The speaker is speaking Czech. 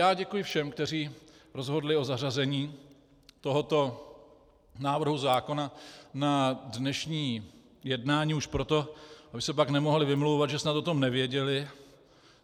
Já děkuji všem, kteří rozhodli o zařazení tohoto návrhu zákona na dnešní jednání už proto, aby se pak nemohli vymlouvat, že snad o tom nevěděli.